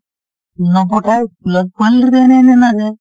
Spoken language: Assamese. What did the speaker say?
নপঠাই পোৱালিটো এনেই এনেই নাযায়